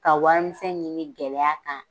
Ka wari misɛn ɲini gɛlɛya kan